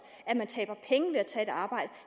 at man taber penge ved at tage et arbejde